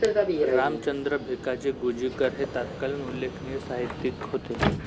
रामचंद्र भिकाजी गुंजीकर हे तत्कालीन उल्लेखनीय साहित्यिक होते